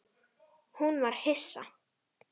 Hún var hissa.